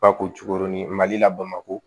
Ba ko cogo ni mali la bamakɔ